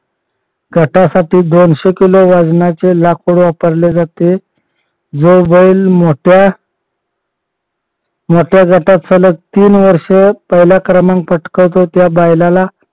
गटासाठी दोनशे किलो वजनाचे लाकूड वापरले जाते. जो बैल मोठ्या मोठ्या गटात सलग तीन वर्ष पहिला क्रमांक पटकावतो त्या बैलाला